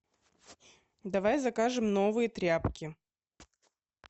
давай закажем новые тряпки